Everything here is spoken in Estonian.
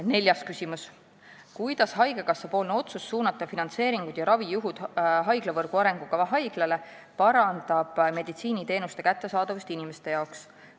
Neljas küsimus: "Kuidas haigekassapoolne otsus suunata finantseeringud ja ravijuhud haiglavõrgu arengukava haiglale parandab meditsiiniteenuste kättesaadavust inimeste jaoks?